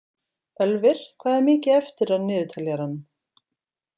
Ölvir, hvað er mikið eftir af niðurteljaranum?